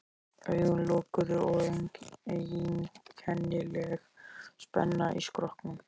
Augun lokuð og einkennileg spenna í skrokknum.